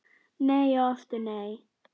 Nei og aftur nei